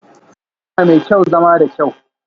Yarinya mai kyau, zama da kyau